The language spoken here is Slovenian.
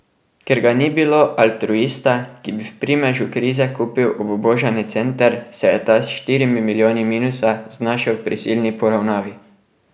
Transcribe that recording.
Ker ga ni bilo altruista, ki bi v primežu krize kupil obubožani center, se je ta s štirimi milijoni minusa znašel v prisilni poravnavi.